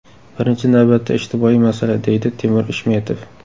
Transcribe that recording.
Birinchi navbatda ijtimoiy masala”, deydi Timur Ishmetov.